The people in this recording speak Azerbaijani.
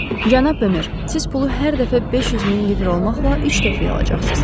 Cənab Bemer, siz pulu hər dəfə 500 min lirə olmaqla üç dəfəyə alacaqsınız.